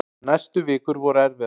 Næstu vikur voru erfiðar.